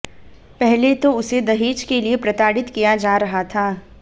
पहले तो उसे दहेज के लिए प्रताड़ित किया जा रहा था